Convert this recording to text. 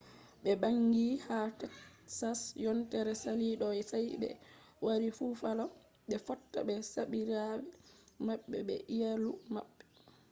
ɓe ɓangi ha teksas yontere sali ɗo sai ɓe wari bufalo ɓe fotta ɓe sobiraɓe maɓɓe be iyalu maɓɓe